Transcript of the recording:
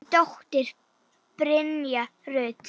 Þín dóttir, Brynja Rut.